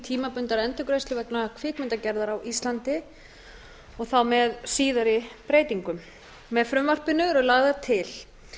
tímabundnar endurgreiðslur vegna kvikmyndagerðar á íslandi og þá með síðari breytingum með frumvarpinu eru lagðar til